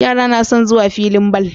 Yara nason zuwa filin ball